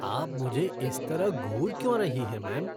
आप मुझे इस तरह घूर क्यों रही हैं मैम?